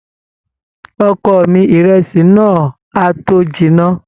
Ọkọ mi, ìrẹsì náà á tó jiná.